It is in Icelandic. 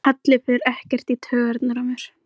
Bóndi þóttist viss um að þar færi konungur Íslands.